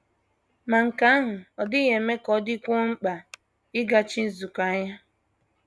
Ma nke ahụ ọ́ dịghị eme ka ọ dịkwuo mkpa ịgachi nzukọ anya?